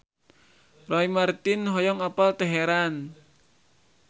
Roy Marten hoyong apal Teheran